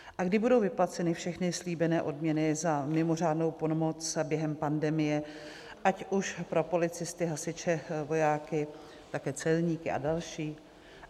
A kdy budou vyplaceny všechny slíbené odměny za mimořádnou pomoc během pandemie, ať už pro policisty, hasiče, vojáky, také celníky a další?